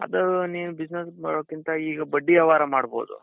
ಅದು ನೀವು business ಮಾಡೋದಕ್ಕಿಂತ ಈಗ ಬಡ್ಡಿ ವ್ಯವಹಾರ ಮಾಡ್ಬೋದು.